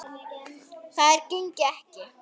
Það gengi ekki